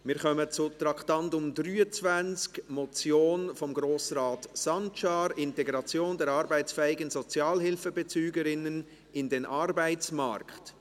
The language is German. Wir kommen zum Traktandum 23, eine Motion von Grossrat Sancar, «Integration der arbeitsfähigen Sozialhilfebezüger/-innen in den Arbeitsmarkt».